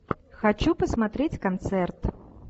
хочу посмотреть концерт